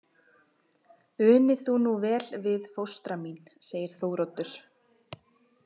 Uni þú nú vel við fóstra mín, segir Þóroddur.